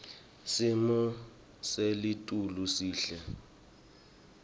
simo selitulu sihle